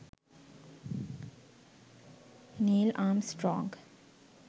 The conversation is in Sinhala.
neil armstrong